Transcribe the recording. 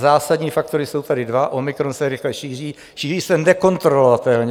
Zásadní faktory jsou tady dva: omikron se rychle šíří, šíří se nekontrolovatelně.